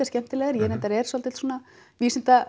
skemmtilegar ég reyndar er dálítill